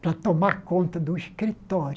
Para tomar conta de um escritório.